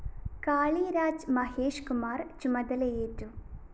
കാളിരാജ് മഹേഷ് കുമാര്‍ ചുമതലയേറ്റു